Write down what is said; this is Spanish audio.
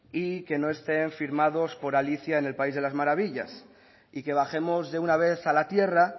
y que no estén firmados por alicia en el país de las maravillas y que bajemos de una vez a la tierra